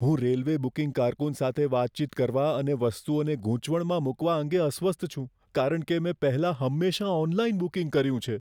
હું railway booking કારકુન સાથે વાતચીત કરવા અને વસ્તુઓને ગૂંચવણમાં મૂકવા અંગે અસ્વસ્થ છું કારણ કે મેં પહેલાં હંમેશા ઓનલાઇન બુકિંગ કર્યું છે.